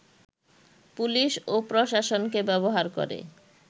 police ও প্রশাসনকে ব্যবহার করে